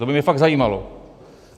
To by mě fakt zajímalo.